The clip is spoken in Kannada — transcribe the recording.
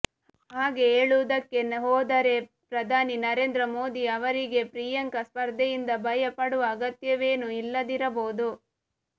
ಹಾಗೆ ಹೇಳುವುದಕ್ಕೆ ಹೋದರೆ ಪ್ರಧಾನಿ ನರೇಂದ್ರ ಮೋದಿ ಅವರಿಗೆ ಪ್ರಿಯಾಂಕಾ ಸ್ಪರ್ಧೆಯಿಂದ ಭಯ ಪಡುವ ಅಗತ್ಯವೇನೂ ಇಲ್ಲದಿರಬಹುದು